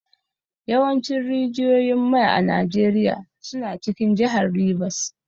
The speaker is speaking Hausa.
Yawancin rijiyoyin mai a Najeriya suna cikin jihar Rivers.